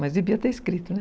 Mas devia ter escrito, né?